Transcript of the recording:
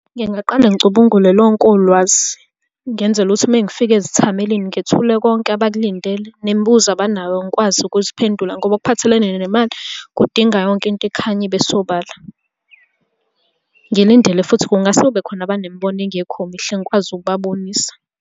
Ngingaqale ngicubungule lonke ulwazi, ngenzela ukuthi uma ngifike ezithamelini ngithule konke abakulindele, nemibuzo abanayo ngikwazi ukuziphendula, ngoba okuphathelene nemali kudinga yonke into ikhanye ibe sobala. Ngilindele futhi, kungase kube khona abanemibono engekho mihle ngikwazi ukubabonisa.